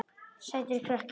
Sætur krakki!